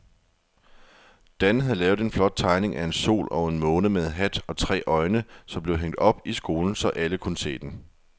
Dan havde lavet en flot tegning af en sol og en måne med hat og tre øjne, som blev hængt op i skolen, så alle kunne se den.